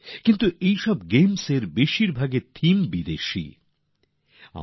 কিন্তু এতে যত গেমস আছে সেগুলির থিমস বা বিষয়বস্তু বেশিরভাগ বিদেশেরই হয়ে থাকে